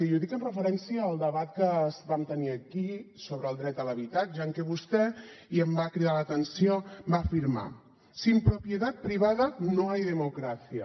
i ho dic en referència al debat que vam tenir aquí sobre el dret a l’habitatge en què vostè i em va cridar l’atenció va afirmar sin propiedad privada no hay democracia